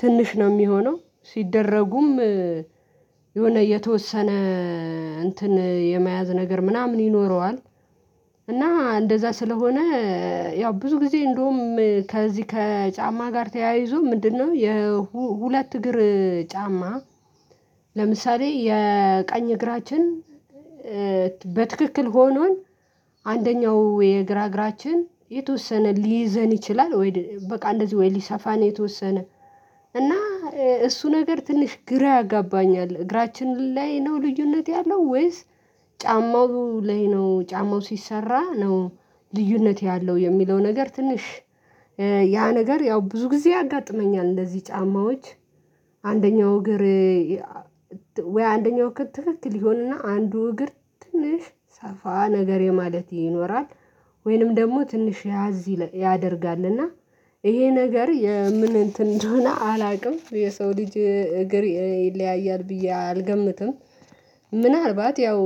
ትንሽ ነው የሚሆነው ሲደረጉም የሆነ የተወሰነ እንትን የመያዝ ነገር ምናምን ይኖረዋል እና እንደዛ ስለሆነ። ያው ብዙ ጊዜ እንደውም ከዚህ ከጫማ ጋር ተያይዞ ምንድነው? የሁለት እግር ጫማ ለምሳሌ የቀኝ እግራችን በትክክል ሆኖን አንደኛው የግራ እግራችን የተወሰነ ሊይዘን ይችላል ወይ በቃ እንደዚህ ወይ ሊሰፋ ነው? የተወሰነ እና እሱ ነገር ትንሽ ግራ ያጋባኛል እግራችን ላይ ነው ልዩነት ያለው ወይስ ጫማው ላይ ነው ጫማው ሲሰራ ነው ልዩነት ያለው የሚለው ነገር ትንሽ ያ ነገር ያው ብዙ ጊዜ ያጋጥመኛል። እንደዚህ ጫማዎች እግር ወይ አንደኛው ክትክል ይሆንና አንዱ እግር ትንሽ ሰፋ ነገር የማለት ይኖራል ወይንም ደግሞ ትንሽ ያዝ ያደርጋልና ይሄ ነገር የምን እንትን እንደሆነ አላውቅም የሰው ልጅ እግር ይለያያል ብዬ አልገምትም። ምናልባት ያው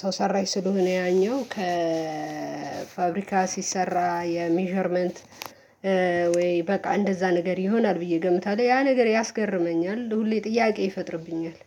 ሰው ሰራሽ ስለሆነ ያኛው ከፋብሪካ ሲሰራ የሜዠርመንት ወይ በቃ እንደዛ ነገር ይሆናል ብዬ ገምታለሁ ያ ነገር ያስገርመኛል ሁሌ ጥያቄ ይፈጥርብኛል